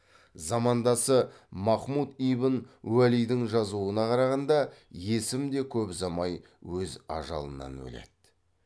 замандасы махмуд ибн уәлидің жазуына қарағанда есім де көп ұзамай өз ажалынан өледі